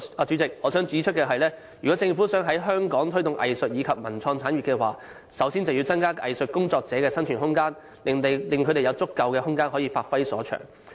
主席，我想指出，如果政府想在香港推動藝術及文化及創意產業，首先便要增加藝術工作者的生存空間，讓他們有足夠空間發揮所長。